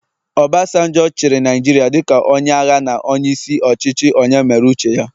Obasanjo chịrị Naijiria dịka onye agha na onye isi ọchịchị onye mere uche ya